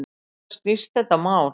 Um hvað snýst þetta mál?